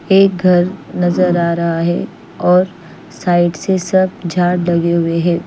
एक घर नज़र आरहा है और साइड से सब झाड़ लगे हुए है।